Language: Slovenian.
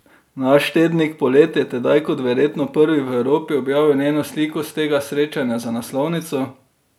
Naš tednik Polet je tedaj kot verjetno prvi v Evropi objavil njeno sliko s tega srečanja za naslovnico!